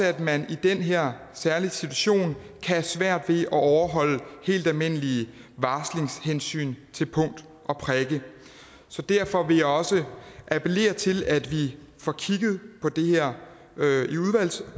at man i den her særlige situation kan have svært ved at overholde helt almindelige varslingshensyn til punkt og prikke derfor vil jeg også appellere til at vi får kigget på det her